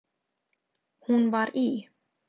Hún var í